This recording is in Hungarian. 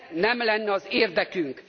nem ez lenne az érdekünk.